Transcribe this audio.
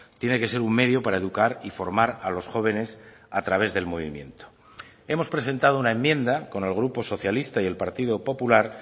tiene que ser un medio para educar y formar a los jóvenes a través del movimiento hemos presentado una enmienda con el grupo socialista y el partido popular